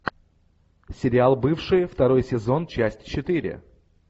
сериал бывшие второй сезон часть четыре